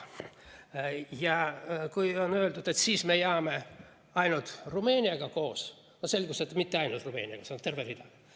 On öeldud, et siis me jääme ainult Rumeeniaga koos – aga selgus, et mitte ainult Rumeeniaga, seal on veel terve rida riike.